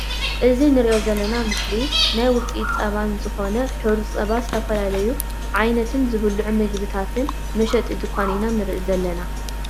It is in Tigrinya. እዚ ንሪኦ ዘለና ኣብ ምስሊ ናይ ዉፅኢት ፀባ ዝኮነ ሕሩጭ ፀባ ዝትፈላለዩ ዓይንት ዝብልዑ ምግብታትን መሸቲ ድካን ኢና ንርኢ ዘለና ።